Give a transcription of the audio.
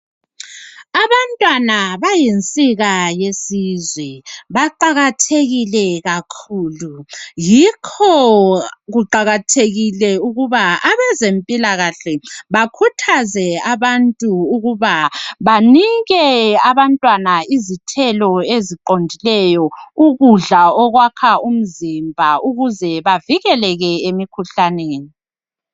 Abantwana bayinsika yesizwe baqakathekile kakhulu yikho kuqakathekile ukuba abezempilakahle bakhuthaze abantu ukuba banike abantwana izithelo eziqondileyo ukudla okwakha imizimba ukuze bavikeleke emikhuhlaneni.